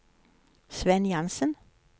Svend Jansen